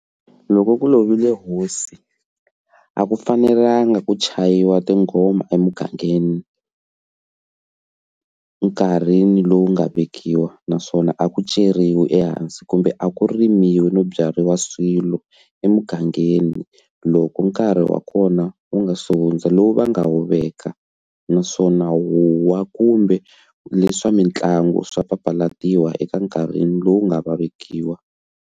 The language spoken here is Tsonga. Lokko ku lovile hosi a ku fanelanga ku chayiwa tinghoma emugangeni nkarhini lowu nga vekiwa naswona a ku ceriwe ehansi kumbe a ku rimiwe no byariwa swilo emugangeni loko nkarhi wa kona wu nga se hundza lowu va nga wu veka naswona huwa kumbe leswi swa mitlangu swa papalatiwa eka nkarhi lowu nga vekiwa.